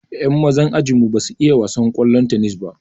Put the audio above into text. Yan mazan ajinmu ba su iya wasan ƙwallon tennis ba.